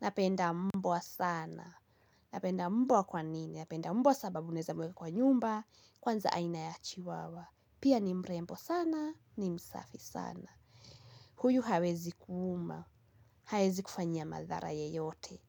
Napenda mbwa sana. Napenda mbwa kwa nini? Napenda mbwa sababu unaeza mweka kwa nyumba. Kwanza aina ya chiwawa. Pia ni mrembo sana. Ni msafi sana. Huyu hawezi kuuma. Hawezi kufanyia madhara yeyote.